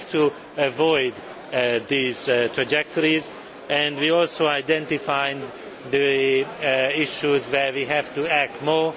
We have to avoid these trajectories and identify the issues requiring further action.